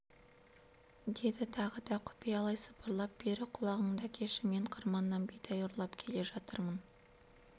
деді тағы да құпиялай сыбырлап бері құлағыңды әкеші мен қырманнан бидай ұрлап келе жатырмын